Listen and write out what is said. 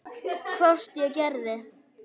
Hvort ég gerði.